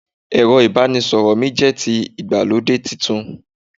ẹrọ ibanisọrọ mi jẹ ti Igbalode Titun